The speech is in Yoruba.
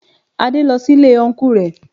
Adé lọ sí Ilé Ọnkú rẹ